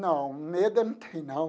Não, medo eu não tenho, não.